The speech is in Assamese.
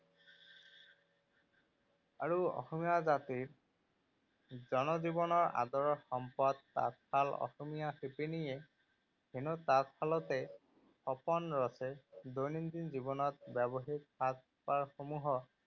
আৰু অসমীয়া জাতিৰ জনজীৱনৰ আদৰৰ সম্পদ তাঁতশাল। অসমীয়া শিপীনিয়ে এনেও তাঁতশালতে সপোন ৰছে। দৈনন্দিন জীৱনত ব্যৱহৃত সাজপাৰ সমূহক